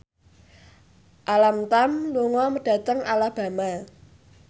Alam Tam lunga dhateng Alabama